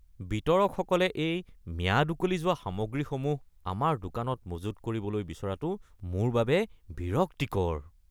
বিতৰকসকলে এই ম্যাদ উকলি যোৱা সামগ্ৰীসমূহ আমাৰ দোকানত মজুত কৰিবলৈ বিচৰাটো মোৰ বাবে বিৰক্তিকৰ।